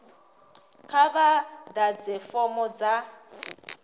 kha vha ḓadze fomo dza